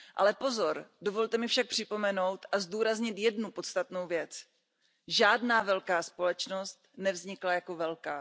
Ale pozor, dovolte mi však připomenout a zdůraznit jednu podstatnou věc žádná velká společnost nevznikla jako velká.